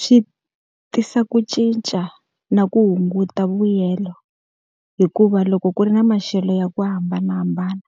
Swi tisa ku cinca na ku hunguta vuyelo. Hikuva loko ku ri na maxelo ya ku hambanahambana